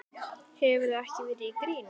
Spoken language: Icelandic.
Hefurðu ekki verið í gírnum?